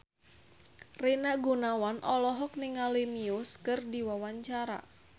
Rina Gunawan olohok ningali Muse keur diwawancara